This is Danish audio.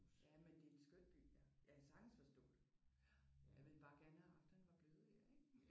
Jamen det er en skøn by ja. Jeg kan sagtens forstå det. Jeg ville bare gerne have haft at han var blevet her ik?